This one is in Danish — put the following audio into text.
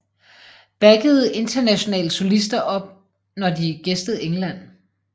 Backede internationale solister op når de gæstede England